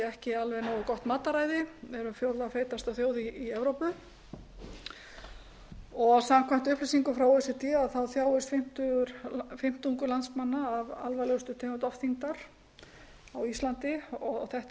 ekki alveg nógu gott matarræði erum fjórða feitasta þjóð í evrópu og samkvæmt upplýsingum frá o e c d þjáist fimmtungur landsmanna af alvarlegustu tegund ofþyngdar á íslandi þetta er eitthvað sem